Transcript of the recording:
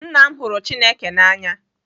Nna m hụrụ Chineke n'anya.